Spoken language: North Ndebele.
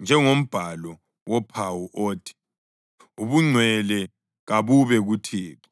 njengombhalo wophawu othi: Ubungcwele kabube kuThixo.